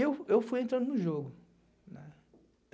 eu eu fui entrando no jogo, né.